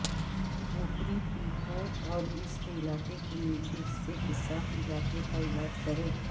اوپری پپو اور اس علاقے کے نچلے حصے کے ساتھ علاقے کا علاج کریں